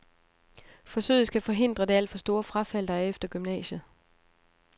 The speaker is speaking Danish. Forsøget skal forhindre det alt for store frafald, der er efter gymnasiet.